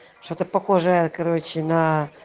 что-то похожее короче на